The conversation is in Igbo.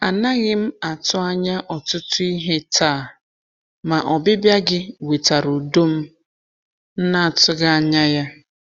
A naghị m atụ anya ọtụtụ ihe taa, ma ọbịbịa gị wetara udo m na-atụghị anya ya.